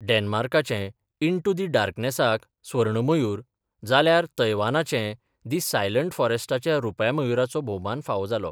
डॅनमार्काचे 'into the डार्कनॅसाक 'स्वर्ण मयूर, जाल्यार, तायवानचे 'दि सायलंट फॉरस्टाक रुप्या मयूराचो भोवमान फावो जालो.